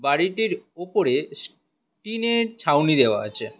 বাড়িটির ওপরে টিনের ছাউনি দেওয়া আছে।